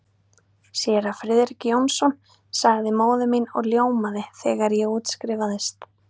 Séra Friðrik Jónsson sagði móðir mín og ljómaði, þegar ég útskrifaðist.